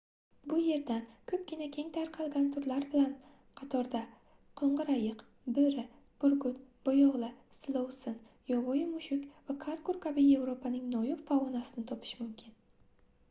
bu yerdan koʻpgina keng tarqalgan turlar bilan qatorda qoʻngʻir ayiq boʻri burgut boyoʻgʻli silovsin yovvoyi mushuk va karqur kabi yevropaning noyon faunasini topish mumkin